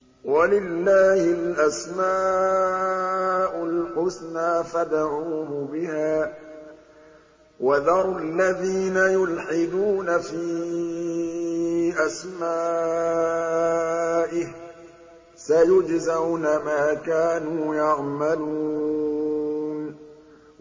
وَلِلَّهِ الْأَسْمَاءُ الْحُسْنَىٰ فَادْعُوهُ بِهَا ۖ وَذَرُوا الَّذِينَ يُلْحِدُونَ فِي أَسْمَائِهِ ۚ سَيُجْزَوْنَ مَا كَانُوا يَعْمَلُونَ